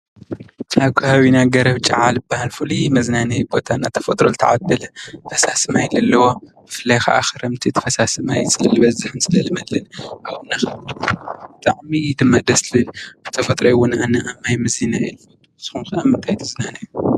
ኣብ ከባቢና ገረብ ጫብ ዝበሃል ፉሉይ መዝናኛ ብተፈጥሮ ዝተዓደለ ፈሳሲ ማይ ዘለዎ ብፍላይ ከዓ ክረምቲ ፈሳሲ ማይ ዝበዝሕ